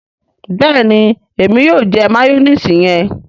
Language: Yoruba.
béèni Èmi yóò jẹ mayonnaise yẹn.